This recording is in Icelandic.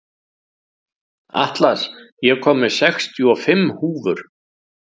Atlas, ég kom með sextíu og fimm húfur!